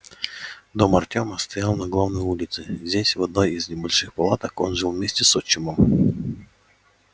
дом артёма стоял на главной улице здесь в одной из небольших палаток он жил вместе с отчимом